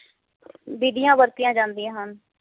ਬੀਡੀਆਂ ਵਰਤੀਆਂ ਜਾਂਦੀਆਂ ਹਨ